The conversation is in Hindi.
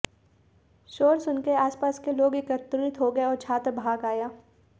शोर सुनकर आसपास के लोग एकत्रित हो गए और छात्र भाग आया